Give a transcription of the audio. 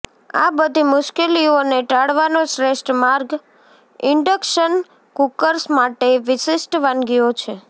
આ બધી મુશ્કેલીઓને ટાળવાનો શ્રેષ્ઠ માર્ગ ઇન્ડક્શન કુકર્સ માટે વિશિષ્ટ વાનગીઓ છે